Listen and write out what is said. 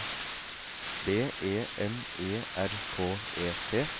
B E M E R K E T